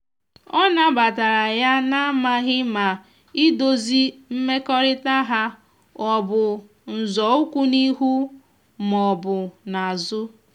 ọ na batara yana amaghi ma idozi mmekorita ha ọbụ nzọụkwụ n'ihu ma ọbụ n'azu